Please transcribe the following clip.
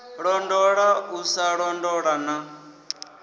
londola u sa londola na